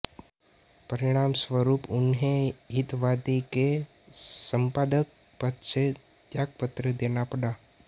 परिणामस्वरूप उन्हें हितवादी के संपादक पद से त्यागपत्र देना पड़ा